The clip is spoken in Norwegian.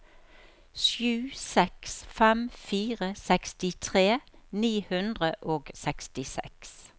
sju seks fem fire sekstitre ni hundre og sekstiseks